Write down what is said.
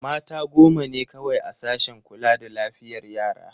Mata goma ne kawai a sashen kula da lafiyar yara.